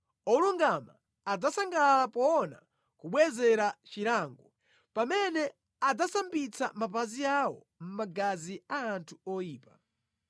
Olungama adzasangalala poona kubwezera chilango, pamene adzasambitsa mapazi awo mʼmagazi a anthu oyipa.